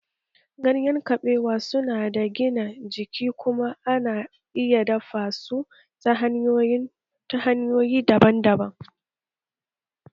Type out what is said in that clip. Ganyen kabewa su na da gina jiki kuma ana iya dafa su ta hanyoyi daban-daban